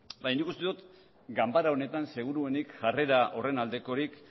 baina nik uste dut ganbara honetan seguruenik jarrera horren aldekorik